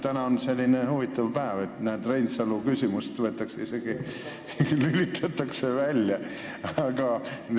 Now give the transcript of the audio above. Täna on selline huvitav päev, et näed, isegi Reinsalule esitatav küsimus lülitatakse välja!